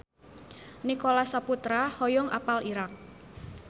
Nicholas Saputra hoyong apal Irak